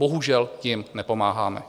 Bohužel jim nepomáháme.